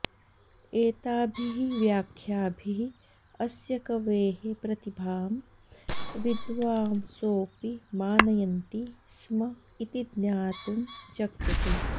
एताभिः व्याख्याभिः अस्य कवेः प्रतिभां विद्वांसोऽपि मानयन्ति स्म इति ज्ञातुम् शक्यते